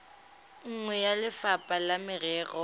nngwe ya lefapha la merero